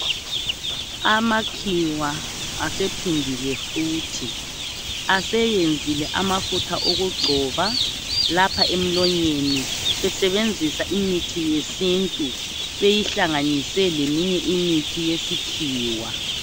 Amakhiwa asephindile futhi Aseyenzile amafutha okugcoba lapha emlonyeni besebenzisa imithi yesintu beyihlanganise leminye imithi yesikhiwa